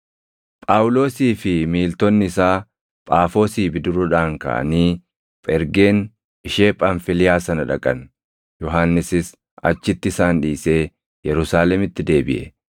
Phaawulosii fi miiltonni isaa Phaafoosii bidiruudhaan kaʼanii Phergeen ishee Phamfiliyaa sana dhaqan; Yohannisis achitti isaan dhiisee Yerusaalemitti deebiʼe.